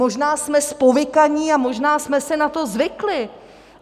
Možná jsme zpovykaní a možná jsme si na to zvykli.